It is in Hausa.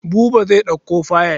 Buba zai ɗauko fayil.